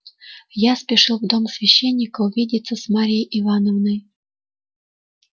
я спешил в дом священника увидеться с марьей ивановной